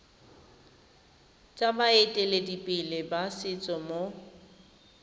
tsa baeteledipele ba setso mo